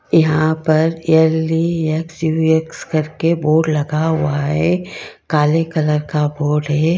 यहां पर L E X U S करके बोर्ड लगा हुआ है काले कलर का बोर्ड है।